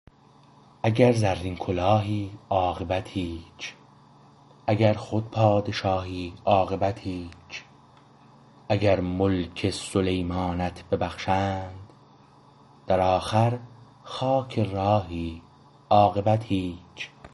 اگر زرین کلاهی عاقبت هیچ اگر خود پادشاهی عاقبت هیچ اگر ملک سلیمانت ببخشند در آخر خاک راهی عاقبت هیچ